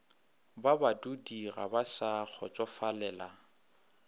ba badudiga ba sa kgotsofalela